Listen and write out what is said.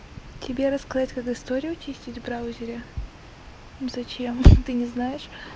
тебе рассказать как историю очистить в браузере зачем ты не знаешь